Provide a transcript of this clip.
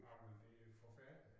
Nåmen det jo forfærdeligt